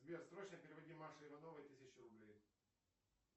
сбер срочно переводи маше ивановой тысячу рублей